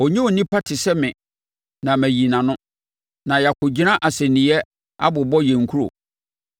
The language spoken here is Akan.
“Ɔnyɛ onipa te sɛ me na mayi nʼano, na yɛakɔgyina asɛnniiɛ abobɔ yɛn nkuro.